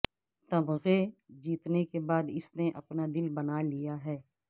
تمغے جیتنے کے بعد اس نے اپنا دل بنا لیا ہے